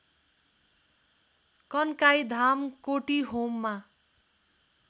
Kankai Dham कोटीहोममा